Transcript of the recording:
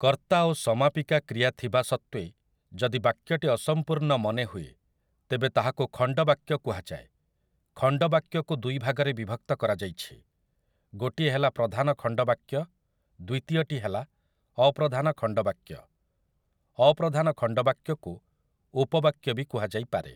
କର୍ତ୍ତା ଓ ସମାପିକା କ୍ରିୟା ଥିବା ସତ୍ୱେ ଯଦି ବାକ୍ୟଟି ଅସମ୍ପୂର୍ଣ୍ଣ ମନେ ହୁଏ ତେବେ ତାହାକୁ ଖଣ୍ଡ ବାକ୍ୟ କୁହାଯାଏ, ଖଣ୍ଡ ବାକ୍ୟକୁ ଦୁଇ ଭାଗରେ ବିଭକ୍ତ କରାଯାଇଛି ଗୋଟିଏ ହେଲା ପ୍ରଧାନ ଖଣ୍ଡ ବାକ୍ୟ ଦ୍ୱିତୀୟଟି ହେଲା ଅପ୍ରଧାନ ଖଣ୍ଡ ବାକ୍ୟ, ଅପ୍ରଧାନ ଖଣ୍ଡ ବାକ୍ୟକୁ ଉପବାକ୍ୟ ବି କୁହାଯାଇ ପାରେ ।